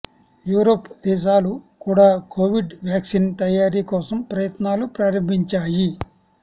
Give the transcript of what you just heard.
Europe దేశాలు కూడా Covid vaccine తయారీ కోసం ప్రయత్నాలు ప్రారంభించాయి